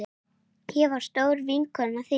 Ég var stór vinkona þín.